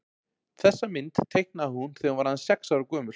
þessa mynd teiknaði hún þegar hún var aðeins sex ára gömul